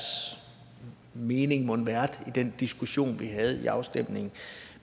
mening mon har været i den diskussion vi havde op til afstemningen